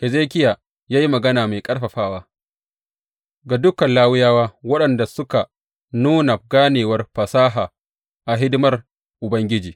Hezekiya ya yi magana mai ƙarfafawa ga dukan Lawiyawa waɗanda suka nuna ganewar fasaha a hidimar Ubangiji.